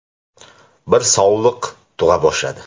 Bir sovliq tug‘a boshladi.